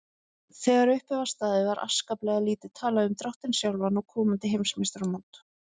Þegar upp var staðið var afskaplega lítið talað um dráttinn sjálfan og komandi heimsmeistaramót.